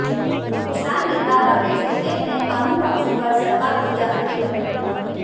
किसान नेता राकेश टिकैत ने कानून वापसी पर सरकार को दिया अल्टीमेटम